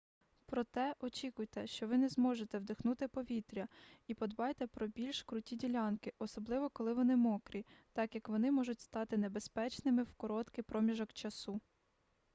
проте очікуйте що ви не зможете вдихнути повітря і подбайте про більш круті ділянки особливо коли вони мокрі так як вони можуть стати небезпечними в короткий проміжок часу